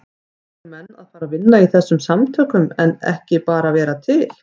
Eru menn að fara að vinna í þessum samtökum en ekki bara vera til?